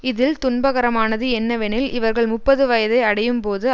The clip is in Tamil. இதில் துன்பகரமானது என்னவெனில் இவர்கள் முப்பது வயதை அடையும் போது